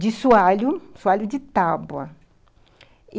de sualho, sualho de tábua.